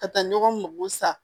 Ka taa ɲɔgɔn sa